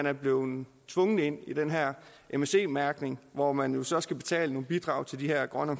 er blevet tvunget ind i den her msc mærkning hvor man jo så skal betale et bidrag til de her grønne